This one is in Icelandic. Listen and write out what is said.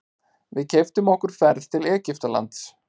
Við keyptum okkur ferð til Egyptalands.